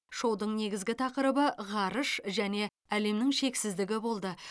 шоудың негізгі тақырыбы ғарыш және әлемнің шексіздігі болды